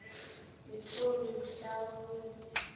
ngeentloni mhla wumbi